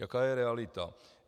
Jaká je realita?